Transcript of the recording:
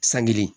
San kelen